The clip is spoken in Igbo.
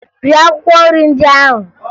Rie akwụkwọ nrị ndị ahụ!